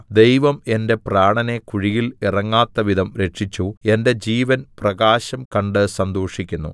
ദൈവം എന്റെ പ്രാണനെ കുഴിയിൽ ഇറങ്ങാത്തവിധം രക്ഷിച്ചു എന്റെ ജീവൻ പ്രകാശം കണ്ട് സന്തോഷിക്കുന്നു